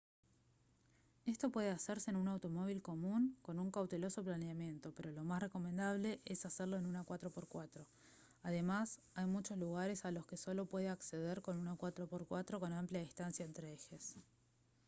esto puede hacerse en un automóvil común con un cauteloso planeamiento pero lo más recomendable es hacerlo en una 4x4; además hay muchos lugares a los que solo se puede acceder con una 4x4 con amplia distancia entre ejes